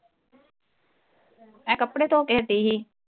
ਮੈਂ ਕੱਪੜੇ ਧੋ ਕੇ ਹੱਟੀ ਹੀ